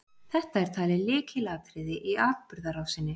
Þetta er talið lykilatriði í atburðarásinni.